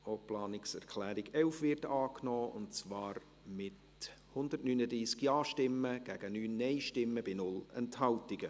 Sie haben die Planungserklärung 12 einstimmig angenommen, mit 146 Ja- gegen 0 NeinStimmen bei 0 Enthaltungen.